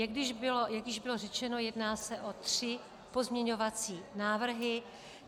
Jak již bylo řečeno, jedná se o tři pozměňovací návrhy.